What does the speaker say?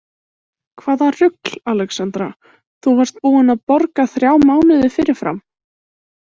Hvaða rugl, Alexandra, þú varst búin að borga þrjá mánuði fyrirfram!